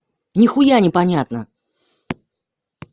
ни хуя не понятно